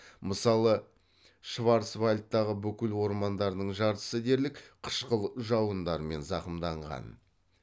мысалы шварцвальдтағы бүкіл ормандардың жартысы дерлік қышқыл жауындармен зақымданған